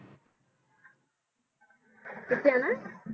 ਕਿਥੇ ਜਾਣਾ?